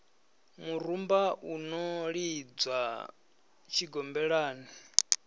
murumba u no lidzwa tshigombelani